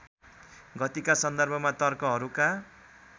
गतिका सन्दर्भमा तर्कहरूका